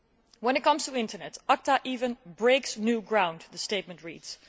When it comes to the Internet, ACTA even breaks new ground, the statement reads.